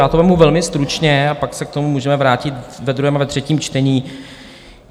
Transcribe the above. Já to vezmu velmi stručně a pak se k tomu můžeme vrátit ve druhém a ve třetím čtení.